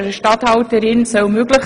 Warum diese neue Regelung?